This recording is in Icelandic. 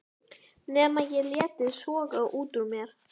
Nema ég léti soga út úr mér.